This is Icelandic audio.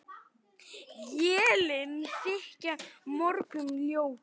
Élin þykja mörgum ljót.